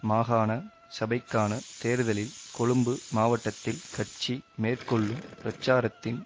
மாகாண சபைக்கான தேர்தலில் கொழும்பு மாவட்டத்தில் கட்சி மேற்கொள்ளும் பிரச்சாரத்தின்